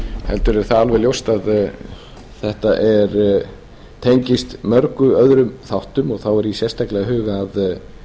heldur er það alveg ljóst að þetta tengist mörgum öðrum þáttum og þá er ég sérstaklega að huga að